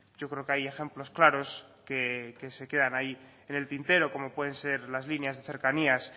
yo creo que hay ejemplos claros que se quedan ahí en el tintero como pueden ser las líneas de cercanías